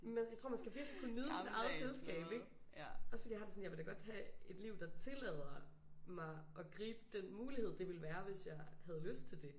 Men jeg tror man skal virkelig kunne nyde sit eget selskab ikke? Også fordi jeg har det sådan jeg vil da godt have et liv der tillader mig at jeg kunne gribe den mullighed det ville være hvis jeg havde lyst til det